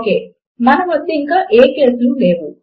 ఒకే మన వద్ద ఇంకా ఏ కేస్ లు లేవు